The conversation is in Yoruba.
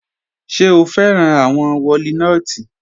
Ṣẹ̀ o fẹ́ran awọn wòlínotí?